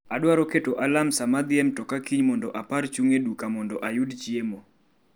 2Zepa Adwaro keto alarm sama adhi e mtoka kiny mondo apare chung' e duka mondo ayud chiemo